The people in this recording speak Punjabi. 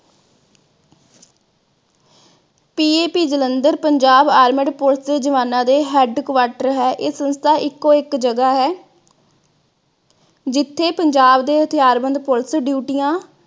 PAP Jalandhar, Punjab armed police ਦੇ ਜਵਾਨਾਂ ਦੇ headquarter ਹੈ। ਇਹ ਸੰਸਥਾ ਇਕੋ ਇਕ ਜਗ੍ਹਾ ਹੈ, ਜਿਥੇ ਪੰਜਾਬ ਦੇ ਹਥਿਆਰਬੰਦ police ਡਿਊਟੀਆਂ